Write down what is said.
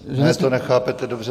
Ne, to nechápete dobře.